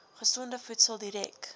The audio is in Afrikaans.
gesonde voedsel direk